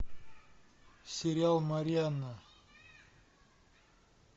сериал марианна